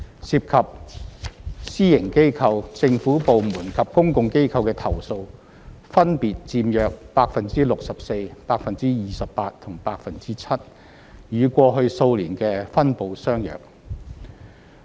涉及私營機構、政府部門及公共機構的投訴分別佔約 64%、28% 及 7%， 與過去數年的分布相約。